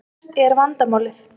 Hvert er vandamálið?